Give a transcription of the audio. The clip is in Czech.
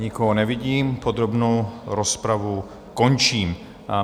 Nikoho nevidím, podrobnou rozpravu končím.